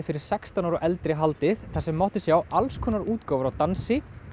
fyrir sextán ára og eldri haldið þar sem mátti sjá alls konar útgáfur af dansi